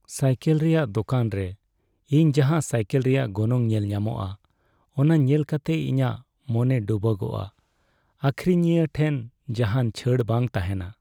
Cycle ᱨᱮᱭᱟᱜ ᱫᱳᱠᱟᱱ ᱨᱮ ᱤᱧ ᱡᱟᱦᱟᱸ ᱥᱟᱭᱠᱮᱞ ᱨᱮᱭᱟᱜ ᱜᱚᱱᱚᱝ ᱧᱮᱞᱧᱟᱢᱚᱜᱼᱟ, ᱚᱱᱟ ᱧᱮᱞ ᱠᱟᱛᱮ ᱤᱧᱟᱹᱜ ᱢᱚᱱ ᱰᱩᱵᱟᱹᱜᱚᱜᱼᱟ ᱾ ᱟᱹᱠᱷᱨᱤᱧᱤᱭᱟᱹ ᱴᱷᱮᱱ ᱡᱟᱦᱟᱱ ᱪᱷᱟᱹᱲ ᱵᱟᱝ ᱛᱟᱦᱮᱸᱱᱟ ᱾